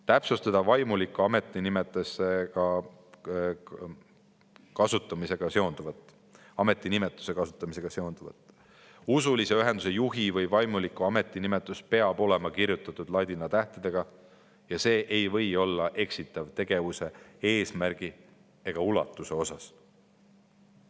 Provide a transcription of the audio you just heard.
Täpsustada vaimuliku ametinimetuse kasutamisega seonduvat: usulise ühenduse juhi või vaimuliku ametinimetus peab olema kirjutatud ladina tähtedega ja see ei või olla eksitav tegevuse eesmärgi ega ulatuse koha pealt.